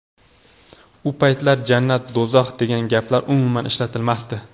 U paytlar jannat, do‘zax degan gaplar umuman ishlatilmasdi.